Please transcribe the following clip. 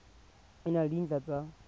e na le dintlha tsa